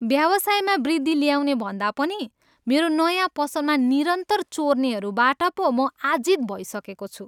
व्यवसायमा वृद्धि ल्याउनेभन्दा पनि मेरो नयाँ पसलमा निरन्तर चोर्नेहरूबाट पो म आजित भइसकेको छु।